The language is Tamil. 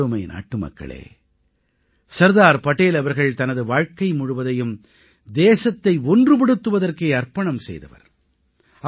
எனதருமை நாட்டுமக்களே சர்தார் படேல் அவர்கள் தனது வாழ்க்கை முழுவதையும் தேசத்தை ஒன்றுபடுத்துவதற்கே அர்ப்பணம் செய்தவர்